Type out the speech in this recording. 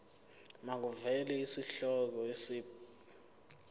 makuvele isihloko isib